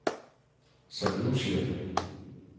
Saint Lucia